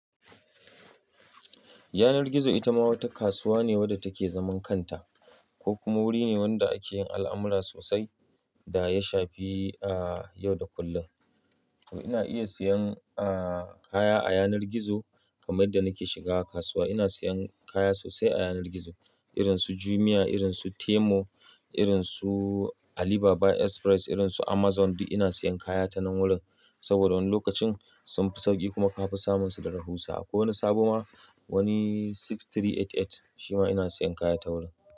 Yanar gizo ita ma wata kasuwa ne wadda take zaman kanta, ko kuma wuri ne wanda ake yin al'amura sosai da ya shafi, a yau da kullum. Ina iya siyan, a kaya a yanar gizo kamar da nake shiga kasuwa. Ina siyan kaya sosai a yanar gizo irin su Jumia, irin su Temu, irin su Alibaba Express, irin su Amazon. Duk ina siyan kaya ta nan wuri saboda wani lokacin sun fi sauƙi kuma ka fi samun su da rahusa. Akwai wani sabuwa wani 6388 shima ina siyan kaya ta wurin.